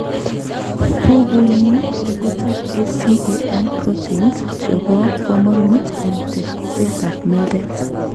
Bubunyi tekutab ACAN proteins chebo komonut en teksetab meldet.